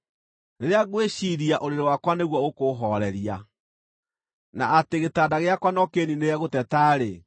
Rĩrĩa ngwĩciiria ũrĩrĩ wakwa nĩguo ũkũũhooreria, na atĩ gĩtanda gĩakwa no kĩĩniinĩre gũteta-rĩ,